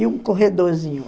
E um corredorzinho.